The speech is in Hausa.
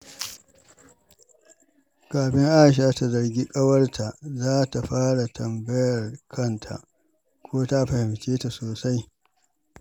Kafin Aisha ta zargi ƙawarta, za ta fara tambayar kanta ko ta fahimce ta sosai.